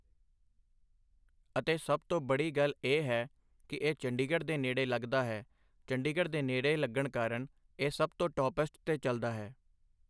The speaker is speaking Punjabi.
ਅਤੇ ਸਭ ਤੋਂ ਬੜੀ ਗੱਲ ਇਹ ਹੈ ਕਿ ਇਹ ਚੰਡੀਗੜ੍ਹ ਦੇ ਨੇੜੇ ਲੱਗਦਾ ਹੈ ਚੰਡੀਗੜ੍ਹ ਦੇ ਨੇੜੇ ਲੱਗਣ ਕਾਰਨ ਇਹ ਸਭ ਤੋਂ ਟੋਪਐਸਟ 'ਤੇ ਚੱਲਦਾ ਹੈ।